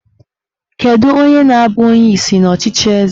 Kedu onye na-abụ onyeisi n'ọchịchị eze?